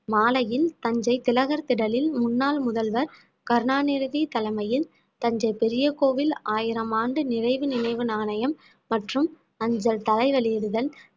மாலையில் தஞ்சை திலகர் திடலில் முன்னாள் முதல்வர் கருணாநிதி தலைமையில் தஞ்சை பெரிய கோவில் ஆயிரம் ஆண்டு நிறைவு நினைவு நாணயம் மற்றும் அஞ்சல் தலை வெளியிடுதல்